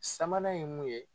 Sabanan ye mun ye